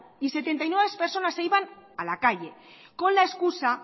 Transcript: y setenta y nueve personas se iban a la calle con la excusa